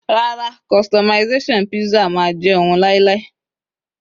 rara, customization pizza ma je oun lailai